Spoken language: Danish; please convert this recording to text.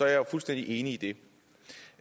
jeg jo fuldstændig enig i det